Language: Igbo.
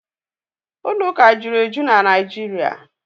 Ụlọ ụka jụrụ eju na Naijiria.